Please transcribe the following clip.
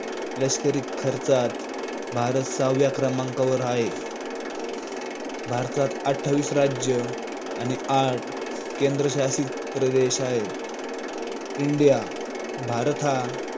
लष्करीत खर्चात भारत सहाव्या क्रमांकवर हाय भारतात अठ्ठावीस राज्य आणि आठ केंद्रशासित प्रदेश आहेत इंडिया, भारत हा